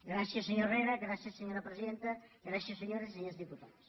gràcies senyor herrera gràcies senyora presidenta grà cies senyores i senyors diputats